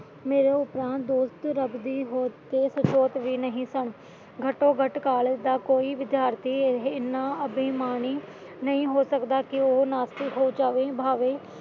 ਮੇਰੇ ਪੁਰਾਣੇ ਦੋਸਤ ਰੱਬ ਦੀ ਹੋਂਦ ਸਚੇਤ ਵੀ ਨਹੀਂ ਸਨ ਘੱਟੋ ਘੱਟ ਕਾਲਜ ਦਾ ਕੋਈ ਵਿਦਿਆਰਥੀ ਇਹਨਾਂ ਅਭਿਮਾਨੀ ਨਹੀਂ ਹੋ ਸਕਦਾ ਕਿ ਉਹੋ ਨਾਸਤਿਕ ਹੋ ਜਾਵੇ ਭਾਵੇਂ